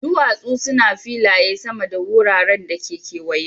duwasu su ne filaye sama da wuraren da ke kewaye.